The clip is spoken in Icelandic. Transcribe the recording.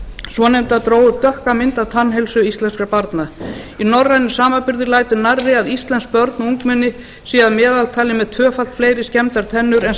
svonefnda dró upp dökka mynd af tannheilsu íslenskra barna í norrænum samanburði lætur nærri að íslensk börn og ungmenni séu að meðaltali með tvöfalt fleiri skemmdar tennur en